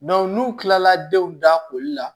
n'u kilala denw da koli la